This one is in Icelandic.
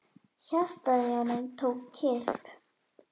Hjartað í honum tók kipp.